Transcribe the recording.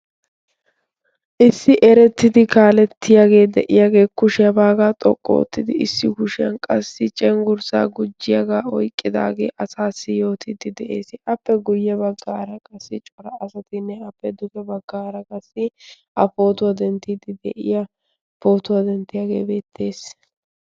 Issi eretidi kaaletiyaage de'iyaage conggurssa bagga xoqqu oottidi cenggurssa gujjiyaaga oyqqidaagee asayoo yootide de'ees. appe guyye baggara qassi cora asatinne qassi appe duge baggara qassi a pootuwaa denttide de'iyaa pootuwaa denttiyaage beettees.